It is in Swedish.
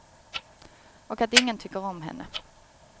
Och att ingen tycker om henne.